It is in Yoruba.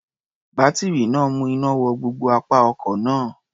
Bátírí náà ń mú iná wọ gbogbo apá ọkọ̀ náà.